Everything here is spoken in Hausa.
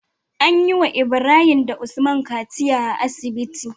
Anyi wa Ibrahim da usman kaciya a asibiti